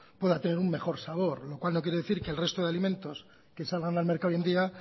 pueda tener un mejor sabor lo cual no quiere decir que el resto de alimentos que salgan al mercado hoy en día